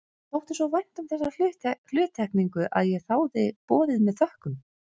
Mér þótti svo vænt um þessa hluttekningu að ég þáði boðið með þökkum.